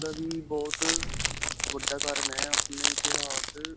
ਦਾ ਵੀ ਬਹੁਤ ਵੱਡਾ ਕਾਰਣ ਹੈ, ਆਪਣੇ ਇਤਿਹਾਸ.